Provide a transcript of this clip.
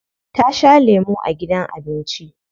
Ta sha lemu a gidan abinci.